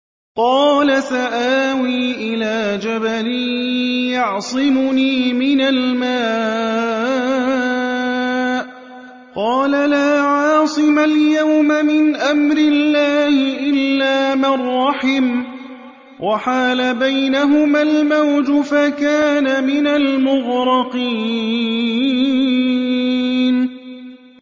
قَالَ سَآوِي إِلَىٰ جَبَلٍ يَعْصِمُنِي مِنَ الْمَاءِ ۚ قَالَ لَا عَاصِمَ الْيَوْمَ مِنْ أَمْرِ اللَّهِ إِلَّا مَن رَّحِمَ ۚ وَحَالَ بَيْنَهُمَا الْمَوْجُ فَكَانَ مِنَ الْمُغْرَقِينَ